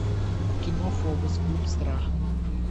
кино фобос клуб страха